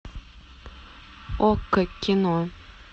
окко кино